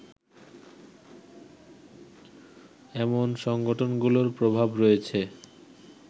এমন সংগঠনগুলোর প্রভাব রয়েছে